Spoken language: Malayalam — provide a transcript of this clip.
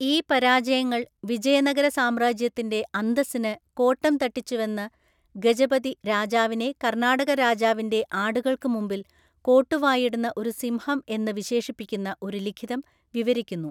ഈ പരാജയങ്ങൾ വിജയനഗര സാമ്രാജ്യത്തിൻ്റെ അന്തസ്സിന് കോട്ടം തട്ടിച്ചുവെന്ന് ഗജപതി രാജാവിനെ കർണാടക രാജാവിൻ്റെ ആടുകൾക്ക് മുമ്പിൽ കോട്ടുവായിടുന്ന ഒരു സിംഹം എന്ന് വിശേഷിപ്പിക്കുന്ന ഒരു ലിഖിതം വിവരിക്കുന്നു.